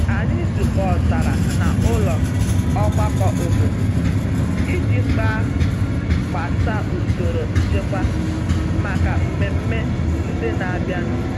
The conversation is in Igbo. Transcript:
Anyị zukọtara na ụlọ ọgbakọ obodo iji kpa gbasa usoro nchekwa maka mmemme ndị n'abịa nu.